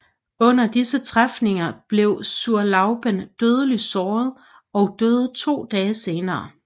Under disse træfninger blev Zurlauben dødeligt såret og døde to dage senere